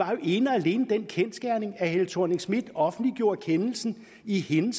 jo ene og alene den kendsgerning at helle thorning schmidt offentliggjorde kendelsen i sin